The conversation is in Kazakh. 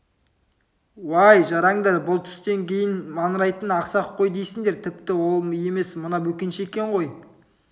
уай жарандар бұл түстен кейін маңырайтын ақсақ қой дейсіңдер тіпті ол емес мына бөкенші екен ғой